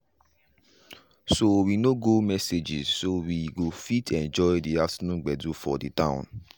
so we nor go messages so we go fit enjoy the afternoon gbedu for de town.